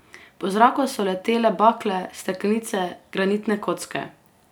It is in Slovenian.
Po zraku so letele bakle, steklenice, granitne kocke.